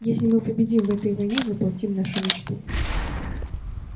если мы победим в этой войне и воплотим нашу мечту